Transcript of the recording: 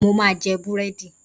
Mo ma jẹ búrẹ́dì.